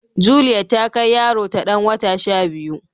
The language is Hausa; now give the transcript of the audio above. Juliet ta kai yaro ta dan wata shabiyu